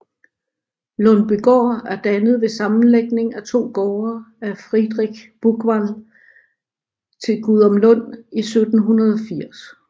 Lundbygaard er dannet ved sammenlægning af 2 gårde af Friedrich Buchwald til Gudumlund i 1780